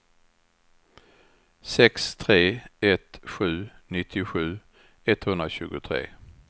sex tre ett sju nittiosju etthundratjugotre